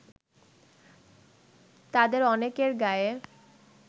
তাদের অনেকের গায়ে